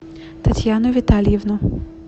татьяну витальевну